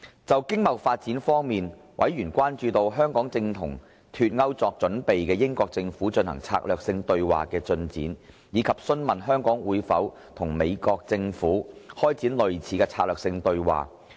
就經貿發展方面，委員關注香港與正為脫歐作準備的英國政府進行策略性對話的進展，以及詢問香港會否與美國政府開展類似的策略性對話。